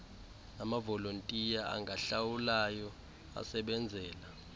namavolontiya angahlawulwayo asebenzela